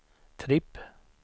tripp